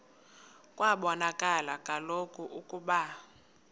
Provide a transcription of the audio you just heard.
kwabonakala kaloku ukuba